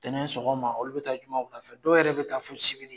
Ntɛnɛn sɔgɔma olu bɛ taa ɲuman fɛ dɔw yɛrɛ bɛ taa fo sibiri